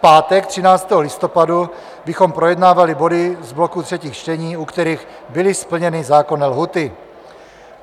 V pátek 13. listopadu bychom projednávali body z bloku třetích čtení, u kterých byly splněny zákonné lhůty.